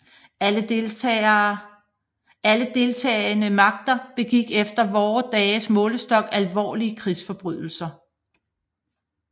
Alle deltagende magter begik efter vore dages målestok alvorlige krigsforbrydelser